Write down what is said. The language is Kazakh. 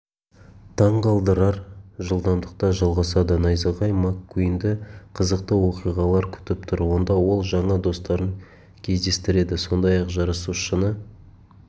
таңғалдырар жылдамдықта жалғасады найзағай маккуинді қызықты оқиғалар күтіп тұр онда ол жаңа достарын кездестіреді сондай-ақ жарысушыны